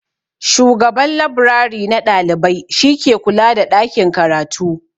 Shugaban labrari na ɗalibai shi ke kula da ɗakin karatu.